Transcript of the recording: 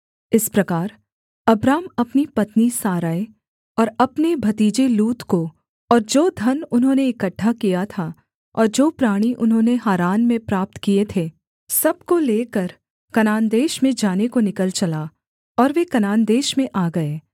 इस प्रकार अब्राम अपनी पत्नी सारै और अपने भतीजे लूत को और जो धन उन्होंने इकट्ठा किया था और जो प्राणी उन्होंने हारान में प्राप्त किए थे सब को लेकर कनान देश में जाने को निकल चला और वे कनान देश में आ गए